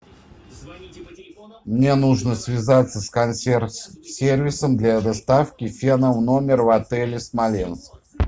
мне нужно связаться с консьерж сервисом для доставки фена в номер в отеле смоленск